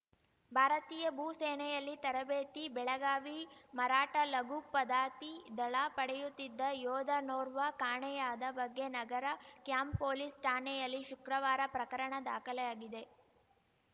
ಭಾರತೀಯ ಭೂ ಸೇನೆಯಲ್ಲಿ ತರಬೇತಿ ಬೆಳಗಾವಿ ಮರಾಠ ಲಘು ಪದಾತಿ ದಳ ಪಡೆಯುತ್ತಿದ್ದ ಯೋಧನೋರ್ವ ಕಾಣೆಯಾದ ಬಗ್ಗೆ ನಗರ ಕ್ಯಾಂಪ್‌ ಪೊಲೀಸ್‌ ಠಾಣೆಯಲ್ಲಿ ಶುಕ್ರವಾರ ಪ್ರಕರಣ ದಾಖಲೆ ಆಗಿದೆ